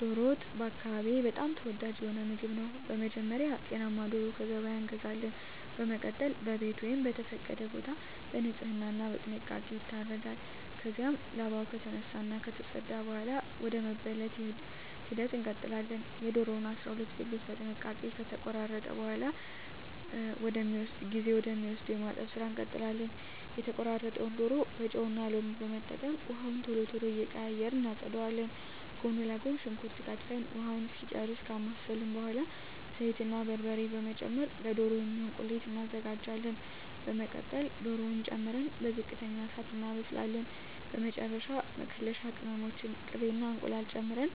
ዶሮ ወጥ በአካባቢየ በጣም ተወዳጅ የሆነ ምግብ ነው። በመጀመሪያ ጤናማ ዶሮ ከገበያ እንገዛለን። በመቀጠል በቤት ወይም በተፈቀደ ቦታ በንጽህና እና በጥንቃቄ ይታረዳል። ከዚያም ላባው ከተነሳ እና ከተፀዳ በኃላ ወደ መበለት ሂደት እንቀጥላለን። የዶሮውን 12 ብልት በጥንቃቄ ከተቆራረጠ በኃላ ጊዜ ወደ ሚወስደው የማጠብ ስራ እንቀጥላለን። የተቆራረጠውን ዶሮ በጨው እና ሎሚ በመጠቀም ውሃውን ቶሎ ቶሎ እየቀያየርን እናፀዳዋለን። ጎን ለጎን ሽንኩርት ከትፈን ውሃውን እስኪጨርስ ካማሰልን በኃላ ዘይት እና በርበሬ በመጨመር ለዶሮ የሚሆን ቁሌት እናዘጋጃለን። በመቀጠል ዶሮውን ጨምረን በዝቅተኛ እሳት እናበስላለን። በመጨረሻ መከለሻ ቅመሞችን፣ ቅቤ እና እንቁላል ጨምረን